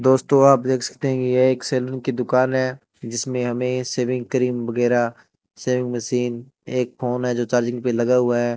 दोस्तों आप देख सकते हैं कि ये एक सैलून की दुकान है जिसमें हमें सेविंग क्रीम वगैरह सेविंग मशीन एक फोन है जो चार्जिंग पे लगा हुआ है।